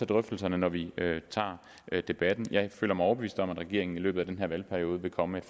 drøftelserne når vi tager debatten jeg føler mig overbevist om at regeringen i løbet af den her valgperiode vil komme